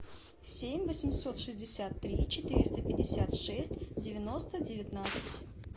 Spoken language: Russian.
семь восемьсот шестьдесят три четыреста пятьдесят шесть девяносто девятнадцать